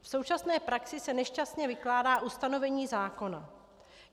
V současné praxi se nešťastně vykládá ustanovení zákona.